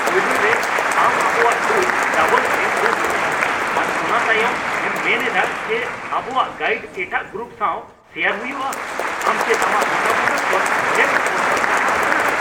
ᱯᱳᱭᱞᱳ ᱨᱮ, ᱟᱢ ᱟᱵᱚᱣᱟᱜ ᱴᱩᱨ ᱰᱟᱵᱚᱞ ᱮᱢ ᱵᱩᱠ ᱟᱠᱟᱫᱟ ᱟᱨ ᱚᱱᱟ ᱛᱟᱭᱚᱢ ᱮᱢ ᱢᱮᱱ ᱮᱫᱟ ᱡᱮ ᱟᱵᱚᱣᱟᱜ ᱜᱟᱭᱤᱰ ᱮᱴᱟᱜ ᱜᱨᱩᱯ ᱥᱟᱶ ᱥᱮᱭᱟᱨ ᱦᱩᱭᱩᱜᱼᱟ ᱾ ᱟᱢ ᱪᱮᱫ ᱟᱢᱟᱜ ᱜᱚᱴᱟᱵᱩᱴᱟᱹ ᱠᱷᱚᱱ ᱮᱢ ᱚᱪᱚᱜ ᱥᱟᱦᱟ ᱟᱠᱟᱱᱟ ?